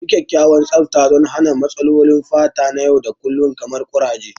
Yi kyakkyawan tsafta don hana matsalolin fata na yau da kullun kamar kuraje.